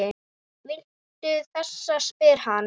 Viltu þessa? spyr hann.